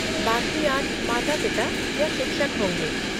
बाकी आठ माता पिता या शिक्षक होंगे।